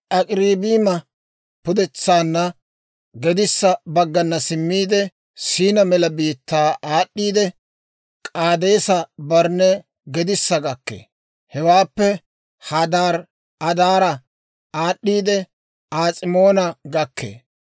Ak'irabiima pudetsaanna gedissa baggana simmiide, S'iina mela biittaa aad'd'iidde, K'aadeesa-Barnne gedissa gakkee; hewaappe Hadaari-Adaara aad'd'iidde, As'imoona gakkee.